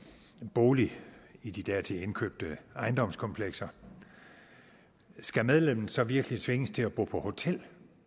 bolig i de dertil indkøbte ejendomskomplekser skal medlemmet så virkelig tvinges til at bo på hotel